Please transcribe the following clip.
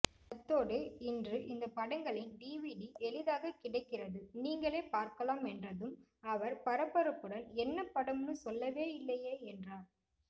அத்தோடு இன்று இந்த படங்களின் டிவிடி எளிதாக கிடைக்கிறது நீங்களே பார்க்கலாம் என்றதும் அவர் பரபரப்புடன் என்னபடம்னு சொல்லவேயில்லையே என்றார்